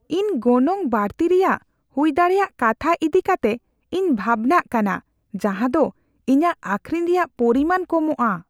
ᱤᱧ ᱜᱚᱱᱚᱝ ᱵᱟᱹᱲᱛᱤ ᱨᱮᱭᱟᱜ ᱦᱩᱭᱫᱟᱲᱮᱭᱟᱜ ᱠᱟᱛᱷᱟ ᱤᱫᱤ ᱠᱟᱛᱮ ᱤᱧ ᱵᱷᱟᱵᱽᱱᱟᱜ ᱠᱟᱱᱟ ᱡᱟᱦᱟᱸ ᱫᱚ ᱤᱧᱟᱹᱜ ᱟᱹᱠᱷᱨᱤᱧ ᱨᱮᱭᱟᱜ ᱯᱚᱨᱤᱢᱟᱱ ᱠᱚᱢᱚᱜᱼᱟ ᱾